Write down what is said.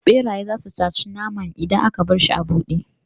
Ɓeraye zasu sace naman idan aka barshi a buɗe